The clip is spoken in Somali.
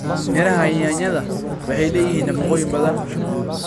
Midhaha ya yaanyada waxay leeyihiin nafaqooyin badan.